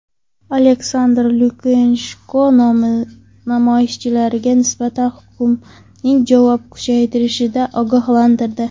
Aleksandr Lukashenko namoyishchilarga nisbatan hukumatning javobi kuchaytirilishidan ogohlantirdi.